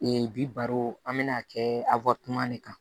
bi baro an bɛna kɛ de kan